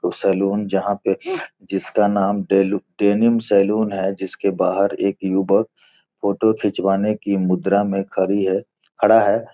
salon जहाॅं पे जिसका नाम डेनिम सैलून है | जिसके बाहर एक युवक फ़ोटो खिचवाने की मुद्रा में खड़ी है खड़ा है |